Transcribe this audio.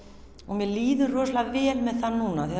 mér líður rosalega vel með það núna af því